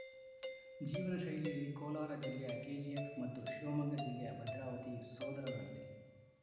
ಜೀವನ ಶೈಲಿಯಲ್ಲಿ ಕೋಲಾರ ಜಿಲ್ಲೆಯ ಕೆಜಿಎಫ್‌ ಮತ್ತು ಶಿವಮೊಗ್ಗ ಜಿಲ್ಲೆಯ ಭದ್ರಾವತಿ ಸೋದರರಂತೆ